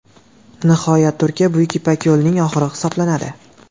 Nihoyat, Turkiya Buyuk ipak yo‘lining oxiri hisoblanadi.